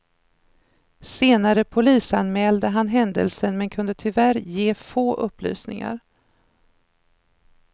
Senare polisanmälde han händelsen men kunde tyvärr ge få upplysningar.